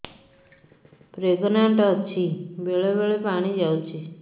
pregnant ଅଛି ବେଳେ ବେଳେ ପାଣି ଯାଉଛି